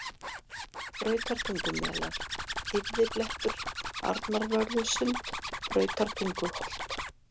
Brautartungumelar, Þýfðiblettur, Arnarvörðusund, Brautartunguholt